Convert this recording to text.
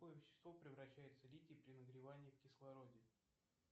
в какое вещество превращается литий при нагревании в кислороде